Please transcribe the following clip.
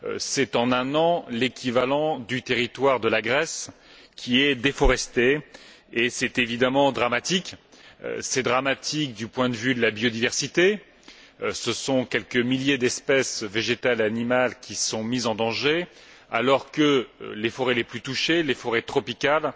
c'est en un an l'équivalent du territoire de la Grèce qui est déforesté et c'est évidemment dramatique. C'est dramatique du point de vue de la diversité ce sont quelques milliers d'espèces végétales et animales qui sont mises en danger alors que les forêts les plus touchées les forêts tropicales